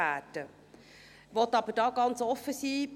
Ich möchte jedoch ganz offen sein: